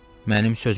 Mənim sözümə bax.